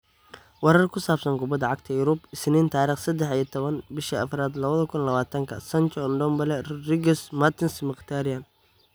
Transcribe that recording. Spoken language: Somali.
Warar ku saabsan Kubada Cagta Yurub Isniin tarikh sedex iyo tawan bishi afarad lawadhi kun lawatanka: Sancho, Ndombele, Rodriguez, Mertens, Mkhitaryan